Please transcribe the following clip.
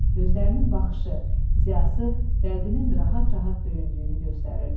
Gözlərinin baxışı, ziyası, qəlbinin rahat-rahat döyündüyünü göstərirdi.